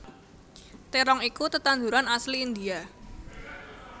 Terong iku tetanduran asli India